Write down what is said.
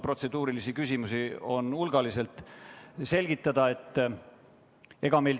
Ma vaatan, et siin on hulgaliselt protseduurilisi küsimusi.